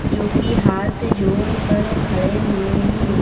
जो कि हाथ जोड़कर खड़े हुए हैं।